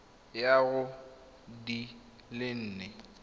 ya go di le nne